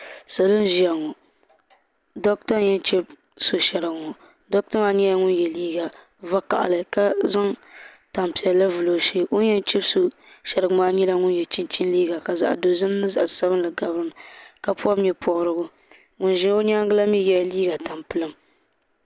Salo n ʒia ŋɔ doɣata n yen chibi so sheriga ŋɔ doɣata maa nyɛla ŋun ye liiga vakahali ka zaŋ tampiɛlli vili o zuɣu o ni yen chibi so sheriga maa nyɛla ŋun ye liiga ka zaɣa dozim ni zaɣa sabinli gabi dinni ka pobi nyɛpobrigu ŋun ʒia o nyaanga la mee ye liiga tampilim.